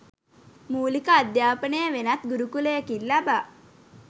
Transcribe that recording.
මූලික අධ්‍යාපනය වෙනත් ගුරුකුලයකින් ලබා